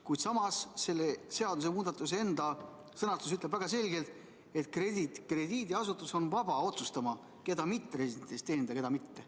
Kuid selle seadusemuudatuse enda sõnastus ütleb väga selgelt, et krediidiasutus on vaba otsustama, keda mitteresidentidest teenindada ja keda mitte.